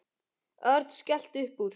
Örn skellti upp úr.